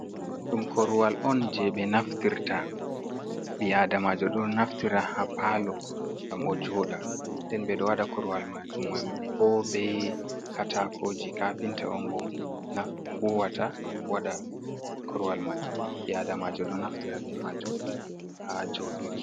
Ɗum koruwal on je ɓe naftirta ɓi adamajo ɗo naftira ha palo ngam ojoda den ɓe ɗo wada koruwal majum mai bo be katakoji kapinta on ɓo nafbuwata wada koruwal man ɓi adamajo ɗo naftira be majum ha joɗirki.